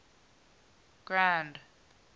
grand